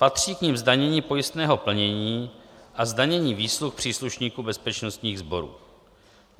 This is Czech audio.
Patří k nim zdanění pojistného plnění a zdanění výsluh příslušníků bezpečnostních sborů.